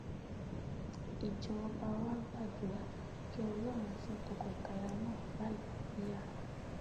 ìjọba wàá gbàdúrà kí ọlọrun fún tọkọtaya náà lálàáfíà